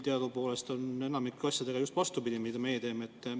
Teadupoolest on enamiku asjadega, mida meie teeme, just vastupidi.